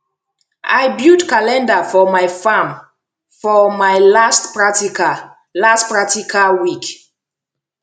i build calendar for my farm for my last practical last practical week